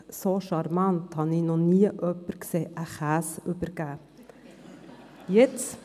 So charmant habe ich noch nie jemanden einen Käse überreichen sehen.